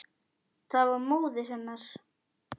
Það var móðir hennar.